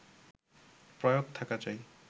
প্রয়োগ থাকা চাই